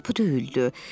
Qapı döyüldü.